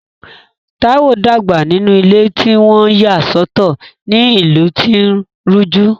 Taiwo dàgbà nínú ilé tí wọ́n yà sọ́tọ̀ ní ìlú tí ó ń rújú.